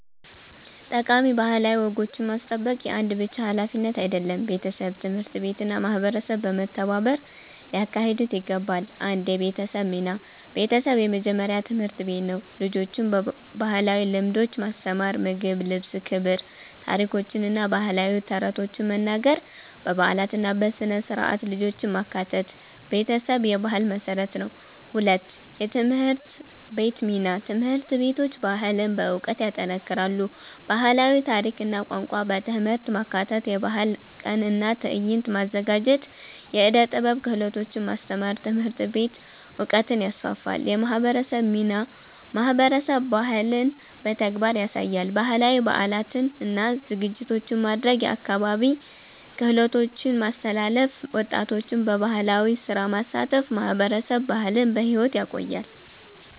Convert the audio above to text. ጠቃሚ ባህላዊ ወጎችን ማስጠበቅ የአንድ ብቻ ሀላፊነት አይደለም፤ ቤተሰብ፣ ትምህርት ቤት እና ማህበረሰብ በመተባበር ሊያካሂዱት ይገባል። 1 የቤተሰብ ሚና ቤተሰብ የመጀመሪያ ትምህርት ቤት ነው። ልጆችን ባህላዊ ልምዶች ማስተማር (ምግብ፣ ልብስ፣ ክብር) ታሪኮችን እና ባህላዊ ተረቶችን መናገር በበዓላት እና በሥነ-ሥርዓት ልጆችን ማካተት ቤተሰብ የባህል መሠረት ነው። 2የትምህርት ቤት ሚና ትምህርት ቤቶች ባህልን በዕውቀት ይጠናክራሉ። ባህላዊ ታሪክ እና ቋንቋ በትምህርት ማካተት የባህል ቀን እና ትዕይንት ማዘጋጀት የዕደ ጥበብ ክህሎቶች ማስተማር ትምህርት ቤት ዕውቀትን ይስፋፋል። የማህበረሰብ ሚናማህበረሰብ ባህልን በተግባር ያሳያል። ባህላዊ በዓላትን እና ዝግጅቶችን ማድረግ የአካባቢ ክህሎቶችን ማስተላለፍ ወጣቶችን በባህላዊ ስራ ማሳተፍ ማህበረሰብ ባህልን በሕይወት ያቆያል።